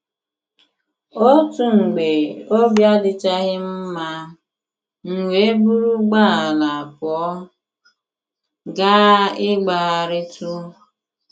N’otu mgbe, obi adịchaghị m mma, m wee buru ụgbọala pụọ gaa ịgbagharịtụ.